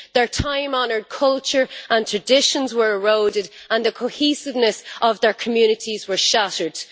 Their time honoured culture and traditions were eroded and the cohesiveness of their communities were shattered.